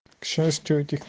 счастье